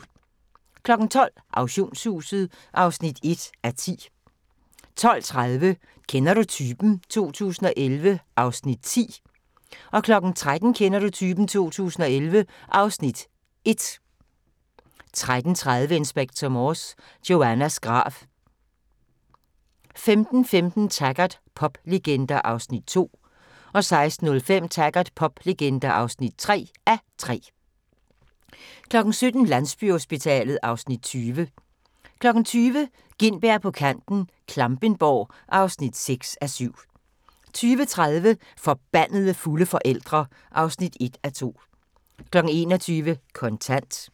12:00: Auktionshuset (1:10) 12:30: Kender du typen? 2011 (Afs. 10) 13:00: Kender du typen? 2011 (Afs. 1) 13:30: Inspector Morse: Joannas grav 15:15: Taggart: Poplegender (2:3) 16:05: Taggart: Poplegender (3:3) 17:00: Landsbyhospitalet (Afs. 20) 20:00: Gintberg på kanten - Klampenborg (6:7) 20:30: Forbandede fulde forældre (1:2) 21:00: Kontant